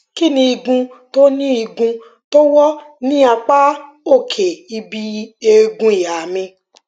kí ni igun tó ni igun tó wọ ní apá òkè ibi eegun ìhà mi